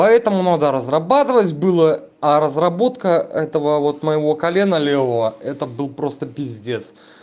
поэтому надо разрабатывать было а разработка этого вот моего колено левого это был просто пиздец